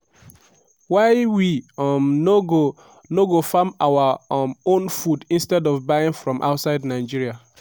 why we um no go no go farm our um own food instead of buying from outside nigeria?